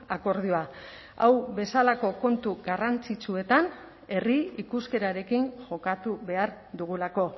akordioa hau bezalako kontu garrantzitsuetan herri ikuskerarekin jokatu behar dugulako